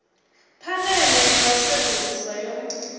phanele ya u sedzulusa yo